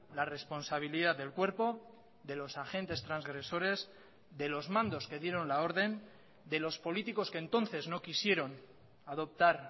la responsabilidad del cuerpo de los agentes transgresores de los mandos que dieron la orden de los políticos que entonces no quisieron adoptar